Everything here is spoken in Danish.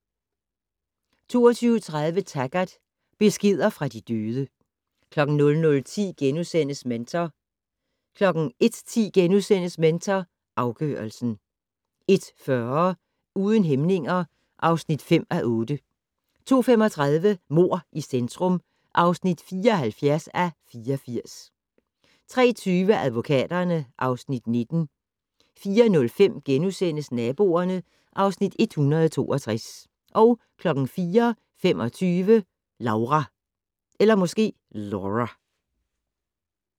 22:30: Taggart: Beskeder fra de døde 00:10: Mentor * 01:10: Mentor afgørelsen * 01:40: Uden hæmninger (5:8) 02:35: Mord i centrum (74:84) 03:20: Advokaterne (Afs. 19) 04:05: Naboerne (Afs. 162)* 04:25: Laura